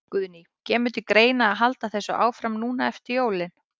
Guðný: Kemur til greina að halda þessu áfram núna eftir jólin?